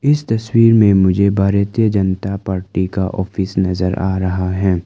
इस तस्वीर में मुझे भारतीय जनता पार्टी का ऑफिस नजर आ रहा है।